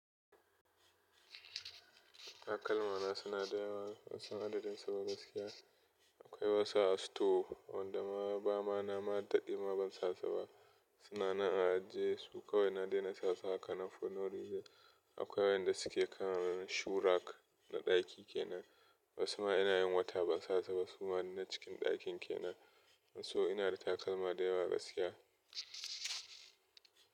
Takalma suna da yewa ban san adadin su ba gaskiya, akwai wasu a store wanda ma ba ma na ma daɗe ma ban sasu ba. Suna nan a ajiye su kawai na daina sasu hakanan for no reason. Akoi waƴanda suke kan shoe rack na ɗaki kenan wasu ma ina yin wata ban sasu ba su ma na cikin ɗakin kenan. So ina da takalma da yawa gaskiya.